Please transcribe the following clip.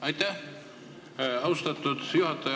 Aitäh, austatud juhataja!